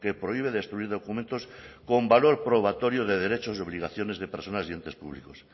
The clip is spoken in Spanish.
prohíbe destruir documentos con valor probatorio de derechos y obligaciones de personas y entes públicos